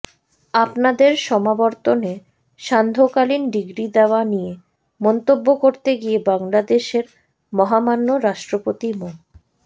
আপনাদের সমাবর্তনে সান্ধ্যকালীন ডিগ্রি দেয়া নিয়ে মন্তব্য করতে গিয়ে বাংলাদেশের মহামান্য রাষ্ট্রপতি মো